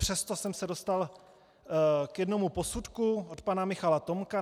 Přesto jsem se dostal k jednomu posudku od pana Michala Tomka.